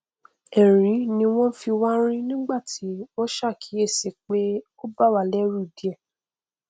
ẹrín ni wọn fi wá rín nígbàtí wọn ṣàkíyèsí pé ó bàwá lẹrù díẹ